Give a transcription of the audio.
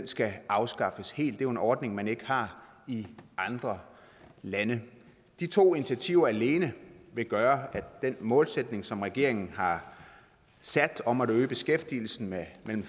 skal afskaffes helt jo en ordning man ikke har i andre lande de to initiativer alene vil gøre at den målsætning som regeringen har sat om at øge beskæftigelsen med mellem